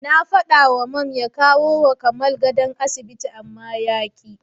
Na faɗawa Mam ya kawowa Kamal gadon asibiti amma yaƙi.